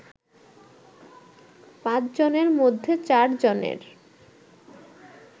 পাঁচজনের মধ্যে চারজনের